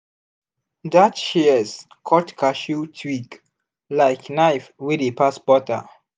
that shears cut cashew twig like knife wey dey pass butter.